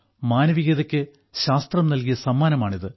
മാനവികതയ്ക്ക് ശാസ്ത്രം നല്കിയ സമ്മാനമാണിത്